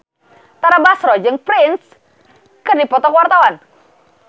Tara Basro jeung Prince keur dipoto ku wartawan